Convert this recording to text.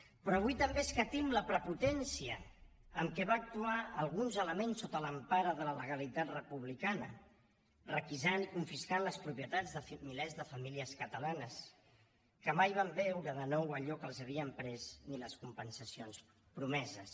però avui també escatim la prepotència amb què van actuar alguns elements sota l’empara de la legalitat republicana en requisar i confiscar les propietats de milers de famílies catalanes que mai van veure de nou allò que els havien pres ni les compensacions promeses